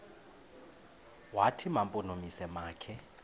wathi mampondomise makhe